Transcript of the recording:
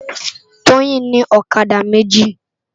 Toyin ni òkadá méji